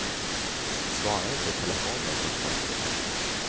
Svara inte i telefon de första veckorna.